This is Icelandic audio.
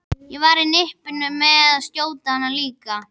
Ég var á nippinu með að skjóta hana líka.